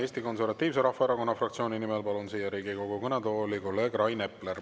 Eesti Konservatiivse Rahvaerakonna fraktsiooni nimel palun Riigikogu kõnetooli kolleeg Rain Epleri.